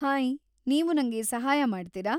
Hi, ನೀವು ನಂಗೆ ಸಹಾಯ ಮಾಡ್ತೀರಾ?